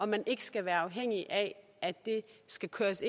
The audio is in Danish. man ikke skal være afhængig af at det skal køres